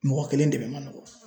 Mɔgɔ kelen dɛmɛ man nɔgɔ.